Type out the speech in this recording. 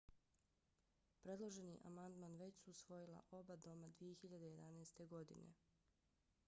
predloženi amandman već su usvojila oba doma 2011. godine